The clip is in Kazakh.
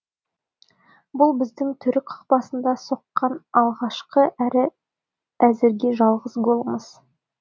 бұл біздің түрік қақпасына соққан алғашқы әрі әзірге жалғыз голымыз